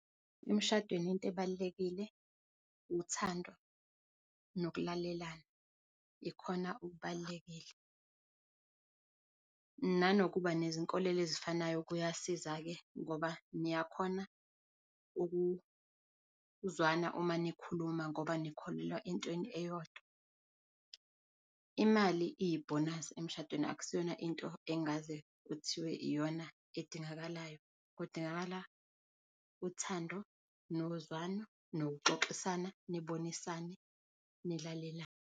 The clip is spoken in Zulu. Emshadweni into ebalulekile uthando nokulalelana, ikhona okubalulekile nanokuba nezinkolelo ezifanayo. Kuyasiza ke ngoba niyakhona uku uzwana uma nikhuluma ngoba nikholelwa entweni eyodwa. Imali iyibonus emshadweni akusiyona into engaze kuthiwe iyona edingakalayo. Kudingakala uthando, nokuzwana nokuxoxisana, nibonisane, nilalelane.